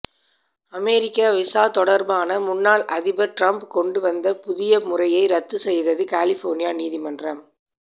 அமெரிக்க visa தொடர்பான முன்னாள் அதிபர் டிரம்ப் கொண்டுவந்த புதிய முறையை ரத்து செய்தது கலிபோர்னியா நீதிமன்றம்